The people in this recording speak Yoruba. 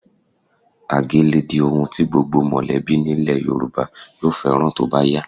Àgé lè di ohun tí gbogbo mọ̀lẹ́bí nílẹ̀ Yorùbá yóò fẹ́ràn tó bá yá